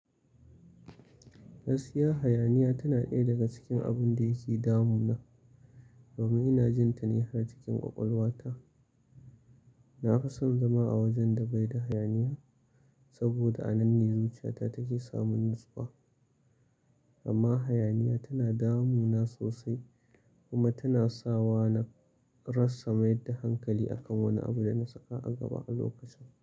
Gaskiya hayaniya tana ɗaya daga cikin abun da yake damuna, domin ina jin ta ni har cikin ƙwaƙwalwata. Na fi son zama a wajen da bai da hayaniya saboda a nan ne zuciyata take samun nutsuwa. Amma hayaniya tana damuna sosai kuma tana sawa na rasa mayar da hankali akan wani abu da na saka a gaba a lokacin.